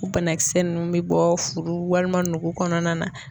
U banakisɛ nunnu bɛ bɔ furu walima nugu kɔnɔna na.